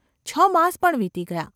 છ માસ પણ વીતી ગયા.